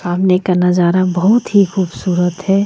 सामने का नजारा बहुत ही खूबसुरत हैं.